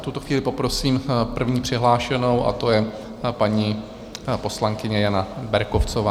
V tuto chvíli poprosím první přihlášenou a to je paní poslankyně Jana Berkovcová.